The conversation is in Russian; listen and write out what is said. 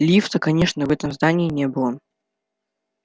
лифта конечно в этом здании не было